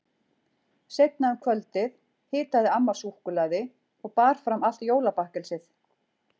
Seinna um kvöldið hitaði amma súkkulaði og bar fram allt jólabakkelsið.